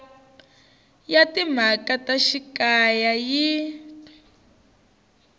ya timhaka ta xikaya yi